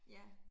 Ja